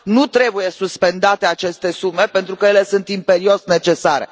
Nu trebuie suspendate aceste sume pentru că ele sunt imperios necesare.